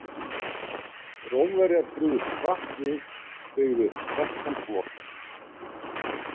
Rómverjar brugðust hratt við og byggðu upp sterkan flota.